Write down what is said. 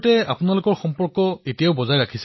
তৰন্নুম খানঃ হয় মহাশয় আমাৰ এতিয়াও যোগাযোগ আছে